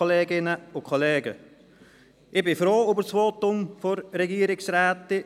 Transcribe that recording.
Ich bin froh um das Votum der Regierungsrätin.